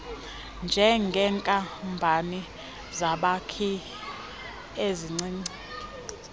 njengeenkampani zabakhi ezincinci